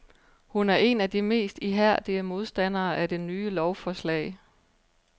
Hun er en af de mest ihærdige modstandere af det nye lovsforslag.